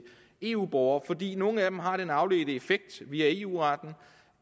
eu borgere fordi nogle af dem har den afledte effekt via eu retten